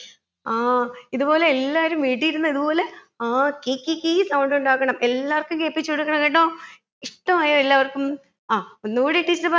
ആ ഇത് പോലെ എല്ലാരും വീട്ടിൽ ഇരുന്ന് ഇത് പോലെ ആ കി കി കി sound ഉണ്ടാക്കണം എല്ലാവർക്കും കേൾപ്പിച്ചു കൊടുക്കണം കേട്ടോ ഇഷ്ട്ടമായോ എല്ലാവർക്കും അഹ് ഒന്ന് കൂടി teacher